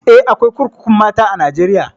Eh, akwai kurkukun mata a Najeriya.